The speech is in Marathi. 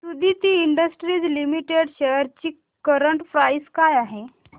सुदिति इंडस्ट्रीज लिमिटेड शेअर्स ची करंट प्राइस काय आहे